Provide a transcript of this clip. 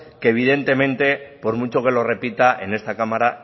que evidentemente por mucho que lo repita en esta cámara